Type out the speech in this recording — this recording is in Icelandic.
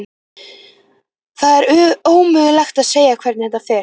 Það er ómögulegt að segja hvernig þetta fer.